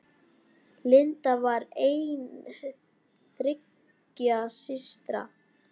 Linda var ein þriggja systra.